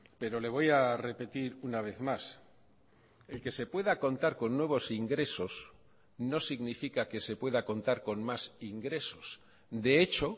pero le voy a repetir una vez más el que se pueda contar con nuevos ingresos no significa que se pueda contar con más ingresos de hecho